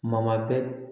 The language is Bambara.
Ma bɛɛ